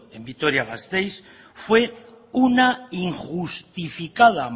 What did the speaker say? en vitoria gasteiz fue una injustificada